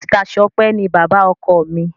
Mr Sope ní bàbá ọkọ mí